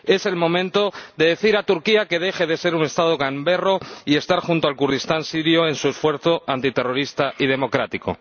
Es el momento de decir a Turquía que deje de ser un Estado gamberro y estar junto al Kurdistán sirio en su esfuerzo antiterrorista y democrático.